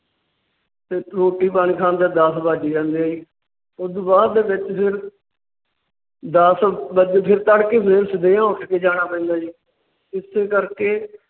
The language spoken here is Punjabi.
ਤੇ ਰੋਟੀ ਪਾਣੀ ਖਾਂਦਿਆਂ ਦੱਸ ਵੱਜ ਜਾਂਦੇ ਹੈ ਜੀ। ਉਸ ਤੋਂ ਬਾਅਦ ਦੇ ਵਿੱਚ ਫਿਰ ਦੱਸ ਵੱਜ ਕੇ ਤੜਕੇ ਫਿਰ ਸਿੱਧੀਆਂ ਉੱਠ ਕੇ ਜਾਣਾ ਪੈਂਦਾ ਹੈ ਜੀ। ਇਸੇ ਕਰਕੇ